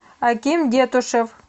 аким детушев